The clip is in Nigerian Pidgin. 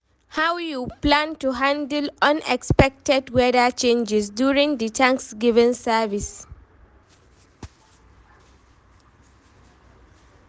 how you plan to handle unexpected weather changes during di thanksgiving service?